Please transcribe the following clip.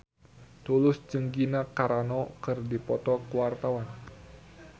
Tulus jeung Gina Carano keur dipoto ku wartawan